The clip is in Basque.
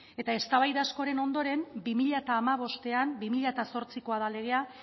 eta eztabaida askoren ondoren bi mila hamabostean bi mila zortzikoa da legea